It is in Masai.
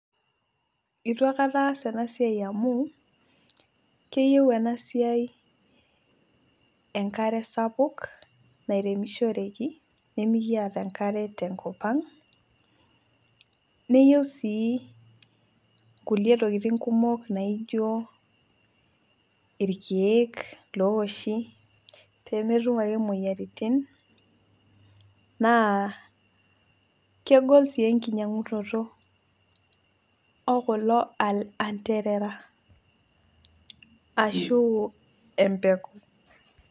eitu aikata aas ena siai amu, keyieu ena siai enkare sapuk nairemishireki. nimikiata enkare sapuk te nkop ang'.neyieu sii kulie tokitin kumok naijo, irkeek looshi pee metum ake moyiaritin, naa kegol sii enkinyiangunoto okulo anterara ashu empeku.